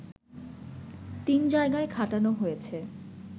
তিন জায়গায় খাটানো হয়েছে